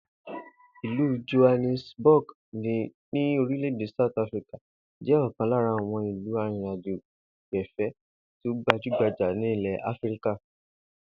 Ìlú Johannesburg ní orílè̩-èdè South Africa jé̩ o̩kàn lára àwo̩n ìlú arìnrìnàjò-gbè̩fé̩ tí ó gbajúgbajà ní ilè̩ Áfíríkà